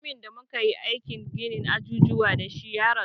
Mutumin da muka yi aikin ginin ajujuwa da shi ya rasu